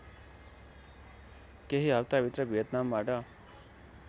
केही हफ्ताभित्र भियतनामबाट